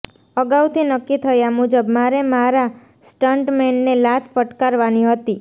અગાઉથી નક્કી થયા મુજબ મારે મારા સ્ટન્ટમૅનને લાત ફટકારવાની હતી